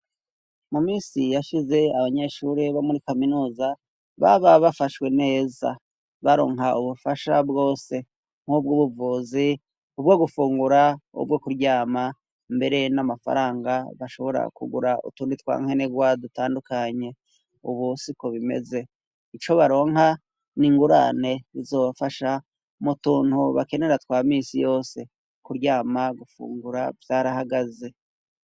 Mu minsi yashize, abanyeshuri bo muri kaminuza, baba bafashwe neza, baronka ubufasha bwose nk'ubwo: ubuvuzi ,gufungura ,kuryama, mbere n'amafaranga bashobora kugura utundi twa nkenerwa dutandukanye. Ubu siko bimeze ,ico baronka n'ingurane zizobafasha mu tuntu bakenera twa misi yose: kuryama gufungura, vyarahagaze.